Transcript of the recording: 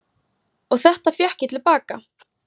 Og þetta fékk ég til baka.